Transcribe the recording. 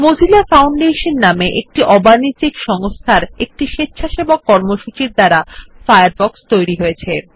Mozilla foundation নামক একটি অবানিজ্যিক সংস্থায় একটি স্বেচ্ছাসেবক কর্মসূচির দ্বারা ফায়ারফক্স তৈরী হয়েছে